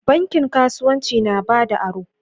Bankin kasuwanci na bada aro.